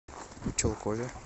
чулкове